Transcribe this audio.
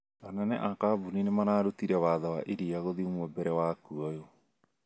Anene a kambuni nĩmarutĩte watho wa iria gũthimwo mbere wa kuoyo